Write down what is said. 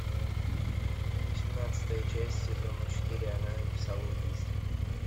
восемнадцатая часть сезона четыре она написала убийство